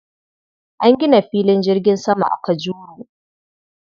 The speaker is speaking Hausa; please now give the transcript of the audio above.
An gina filin jirgin sama a Kajuru.